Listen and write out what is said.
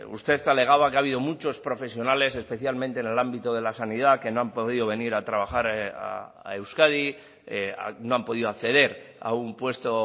usted alegaba que ha habido muchos profesionales especialmente en el ámbito de la sanidad que no han podido venir a trabajar a euskadi no han podido acceder a un puesto